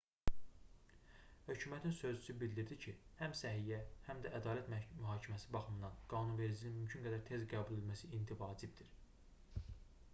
hökumətin sözçüsü bildirdi ki həm səhiyyə həm də ədalət mühakiməsi baxımından qanunvericiliyin mümkün qədər tez qəbul edilməsi indi vacibdir